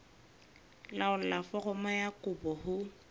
laolla foromo ya kopo ho